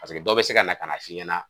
Paseke dɔ bɛ se kana k'a f'i ɲɛna